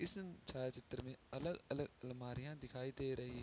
इस छायाचित्र में अलग-अलग अलमारियाँ दिखाई दे रही ।